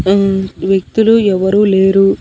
ఆ వ్యక్తులు ఎవరు లేరు.